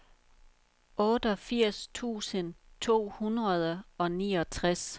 otteogfirs tusind to hundrede og niogtres